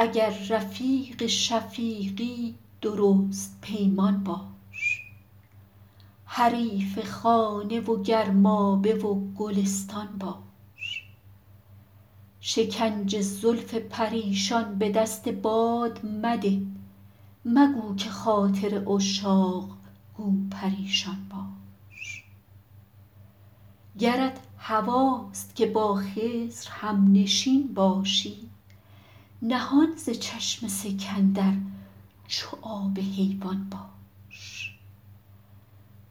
اگر رفیق شفیقی درست پیمان باش حریف خانه و گرمابه و گلستان باش شکنج زلف پریشان به دست باد مده مگو که خاطر عشاق گو پریشان باش گرت هواست که با خضر هم نشین باشی نهان ز چشم سکندر چو آب حیوان باش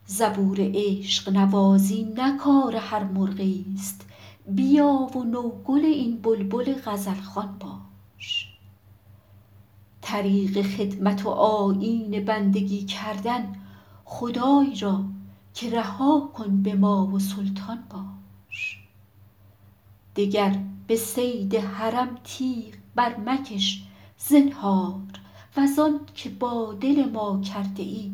زبور عشق نوازی نه کار هر مرغی است بیا و نوگل این بلبل غزل خوان باش طریق خدمت و آیین بندگی کردن خدای را که رها کن به ما و سلطان باش دگر به صید حرم تیغ برمکش زنهار وز آن که با دل ما کرده ای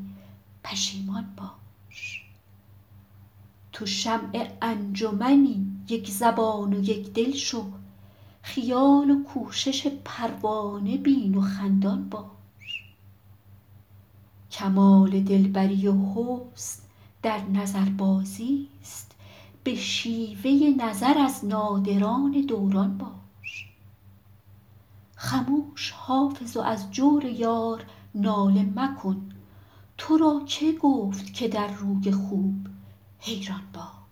پشیمان باش تو شمع انجمنی یک زبان و یک دل شو خیال و کوشش پروانه بین و خندان باش کمال دل بری و حسن در نظربازی است به شیوه نظر از نادران دوران باش خموش حافظ و از جور یار ناله مکن تو را که گفت که در روی خوب حیران باش